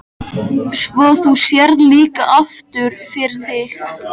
Svo þú sérð líka aftur fyrir þig?